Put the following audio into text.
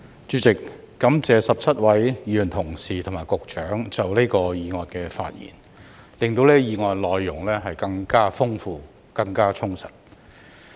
主席，感謝17位議員同事和局長就這項議案的發言，令這項議案的內容更豐富和充實。